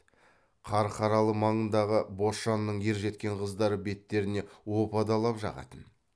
қарқаралы маңындағы бошанның ержеткен қыздары беттеріне опа далап жағатын